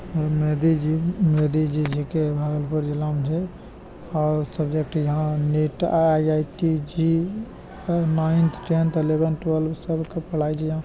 अ मेदी जी मेदी जी जेके भागलपुर जिला म छे । और सब्जेक्ट यहाँ नीट आई_आई_टी जी और नाइन्थ टेंथ अलेवन टुअल्भ सब क पढाय छे यहाँ।